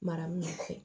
Mara min fɛ